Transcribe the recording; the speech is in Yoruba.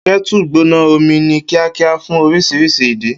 Kettle gbóná omi ní kíákíá fún oríṣiríṣi ìdí.